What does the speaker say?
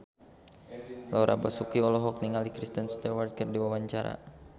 Laura Basuki olohok ningali Kristen Stewart keur diwawancara